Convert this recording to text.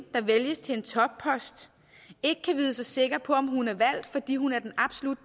der vælges til en toppost ikke kan vide sig sikker på om hun er valgt fordi hun er den absolut